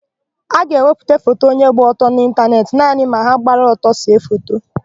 A ga-ewepụta foto onye gba ọtọ n'ịntanetị naanị ma ha gbara ọtọ see foto.